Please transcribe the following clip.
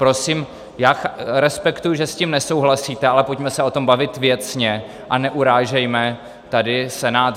Prosím, já respektuji, že s tím nesouhlasíte, ale pojďme se o tom bavit věcně a neurážejme tady Senát.